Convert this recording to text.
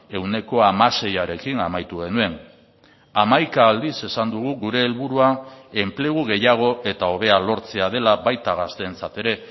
ehuneko hamaseiarekin amaitu genuen hamaika aldiz esan dugu gure helburua enplegu gehiago eta hobea lortzea dela baita gazteentzat ere